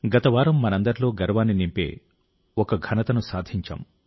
గత వారం మనందరిలో గర్వాన్ని నింపే ఒక ఘనతను సాధించాము